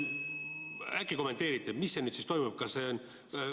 Äkki kommenteerite, mis toimub?